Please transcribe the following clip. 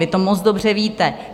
Vy to moc dobře víte.